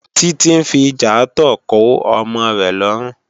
Titi n fi ijàátò kò òmò rè lòrún